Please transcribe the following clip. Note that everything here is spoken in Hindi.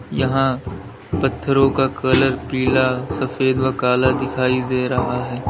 यहां पत्थरों का कलर पीला सफेद व काला दिखाई दे रहा है।